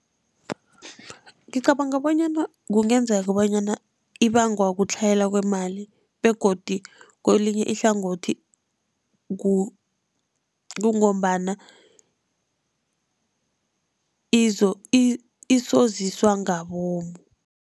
Ngicabanga bonyana kungenzeka bonyana ibangwa kutlhayela kwemali begodi kelinye ihlangothi kungombana isoziswa ngabomu.